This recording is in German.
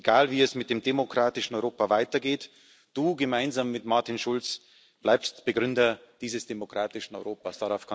Egal, wie es mit dem demokratischen Europa weitergeht Gemeinsam mit Martin Schulz bleibst Du Begründer dieses demokratischen Europas.